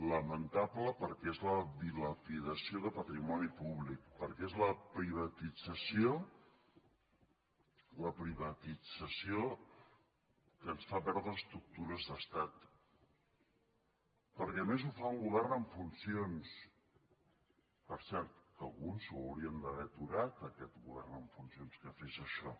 lamentable perquè és la dilapidació de patrimoni públic perquè és la privatització que ens fa perdre estructures d’estat perquè a més ho fa un govern en funcions per cert que alguns l’haurien d’haver aturat aquest govern en funcions que fes això